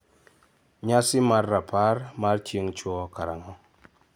Nyasi mar rapar mar chieng'chwo karang'o?